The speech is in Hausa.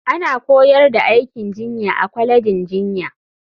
Ana koyar da aikin jinya a kwalejin jinya.